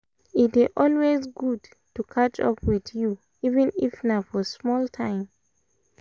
e dey always good to catch up with you even if na for small time